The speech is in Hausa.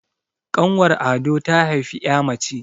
ƙanwar ado ta haifi ya mace